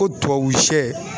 Ko tubabu sɛ